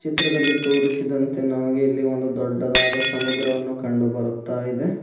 ಚಿತ್ರದಲ್ಲಿ ತೋರಿಸಿದಂತೆ ನಮಗೆ ಇಲ್ಲಿ ಒಂದು ದೊಡ್ಡದಾದ ಸಮುದ್ರವನ್ನು ಕಂಡುಬರುತ್ತಾಯಿದೆ.